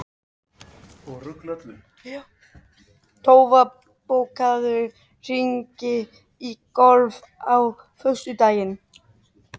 Tófa, bókaðu hring í golf á föstudaginn.